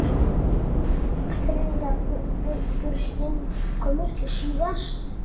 Þriðja burstin kom miklu síðar.